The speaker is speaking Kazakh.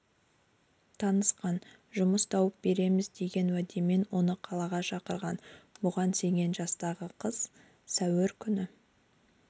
танысқан жұмыс тауып береміз деген уәдемен оны қалаға шақырған бүған сенген жастағы қыз сәуір күні